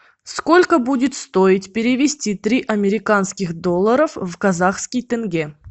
сколько будет стоить перевести три американских доллара в казахский тенге